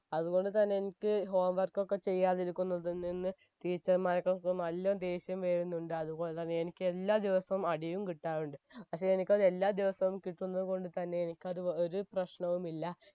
അതുകൊണ്ട് തന്നെ എനിക്ക് home work ഒക്കെ ചെയ്യാതെ എനിക്ക് ഒന്നതിൽനിന്ന് teacher മാർകൊക്കും നല്ലോണം ദേഷ്യം വരുന്നുണ്ട് അതുപോലെതന്നെ എനിക്ക് എല്ലാ ദിവസവും അടിയും കിട്ടാറുണ്ട് പക്ഷെ എനിക്കത് എല്ലാ ദിവസവും കിട്ടുന്നത് കൊണ്ട് തന്നെ എനിക്കത് വ് ഒരു പ്രശ്നവുമില്ല